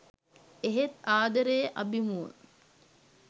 එහෙත් ආදරය අභිමුව